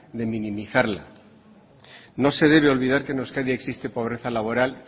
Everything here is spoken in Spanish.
de minimizarla no se debe olvidar que en euskadi existe pobreza laboral